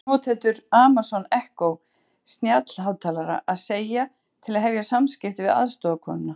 Hvað þurfa notendur Amazon Echo snjallhátalara að segja til að hefja samskipti við aðstoðarkonuna?